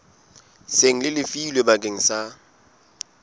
seng le lefilwe bakeng sa